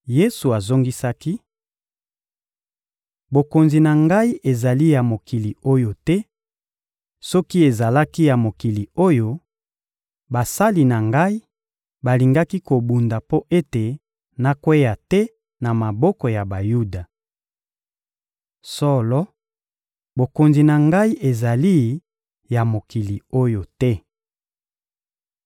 Yesu azongisaki: — Bokonzi na Ngai ezali ya mokili oyo te; soki ezalaki ya mokili oyo, basali na Ngai balingaki kobunda mpo ete nakweya te na maboko ya Bayuda. Solo, bokonzi na Ngai ezali ya mokili oyo te.